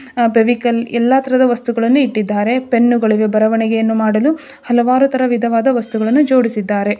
ಫೆವಿಕಾಲ್ ಎಲ್ಲ ತರಹದ ವಸ್ತುಗಳನ್ನ ಇಟ್ಟಿದ್ದಾರೆ ಪೆನ್ನು ಗಳಿವೆ ಬರವಣಿಗೆಯನ್ನು ಮಾಡಲು ಹಲವಾರು ತರದ ವಿಧವಾದ ವಸ್ತುಗಳನ್ನ ಜೋಡಿಸಿದ್ದಾರೆ.